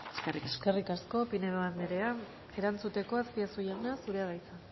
eskerrik asko eskerrik asko pinedo andrea erantzuteko azpiazu jauna zurea da hitza